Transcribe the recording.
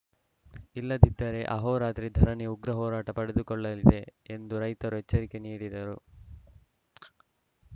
ಇಲ್ಲದಿದ್ದರೆ ಅಹೋರಾತ್ರಿ ಧರಣಿ ಉಗ್ರ ಹೋರಾಟ ಪಡೆದುಕೊಳ್ಳಲಿದೆ ಎಂದು ರೈತರು ಎಚ್ಚರಿಕೆ ನೀಡಿದರು